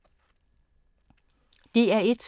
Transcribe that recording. DR1